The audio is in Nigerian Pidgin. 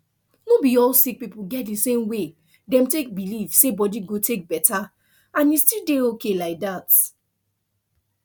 no be all sick people get the same way dem take believe say body go take better and e still dey okay like that